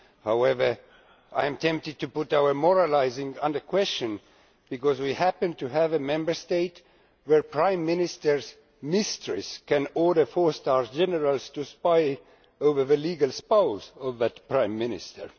However, I am tempted to bring our moralising under question, because we happen to have a Member State where a Prime Minister's mistress can order four star generals to spy on the legal spouse of a Prime Minister.